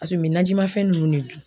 Paseke u bɛ najimafɛn ninnu de dun